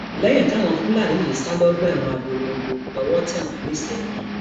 lẹyìn táwọn fúlàní yìí sá lọgbà ẹwọn abọlongo lowó tẹ wọn nisẹyìn